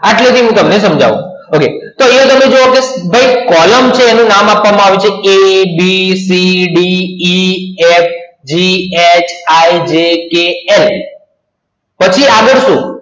આટલે થી હું તમને સમજાવું તો આયા તમે જોવો a b c d e f g h i j k l પછી આગડ સુ